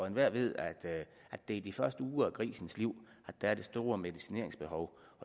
enhver ved at det er de første uger af grisens liv at der er det store medicineringsbehov